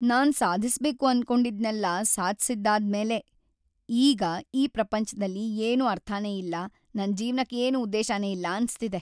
ನಾನ್‌ ಸಾಧಿಸ್ಬೇಕು ಅನ್ಕೊಂಡಿದ್ನೆಲ್ಲ ಸಾಧ್ಸಿದ್ದಾದ್ಮೇಲೆ ಈಗ್‌ ಈ ಪ್ರಪಂಚ್ದಲ್ಲಿ ಏನೂ ಅರ್ಥನೇ ಇಲ್ಲ, ನನ್‌ ಜೀವ್ನಕ್ ಏನೂ ಉದ್ದೇಶನೇ ಇಲ್ಲ ಅನ್ಸ್ತಿದೆ.